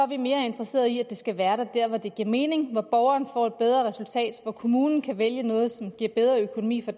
vi mere interesserede i at det skal være dér hvor det giver mening hvor borgeren får et bedre resultat hvor kommunen kan vælge noget som giver en bedre økonomi for